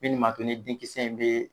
Min ni ma to ni denkisɛ in be